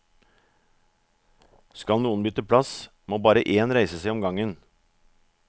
Skal noen bytte plass, må bare én reise seg om gangen.